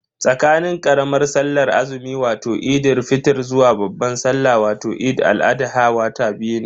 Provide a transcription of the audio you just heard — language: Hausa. Tsakanin karamar sallar azumi wato Eid fitr zuwa babban salla wato Eid al-adha wata biyu ne.